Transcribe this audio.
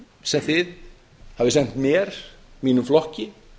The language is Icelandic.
sem þið hafið sent mér mínum flokki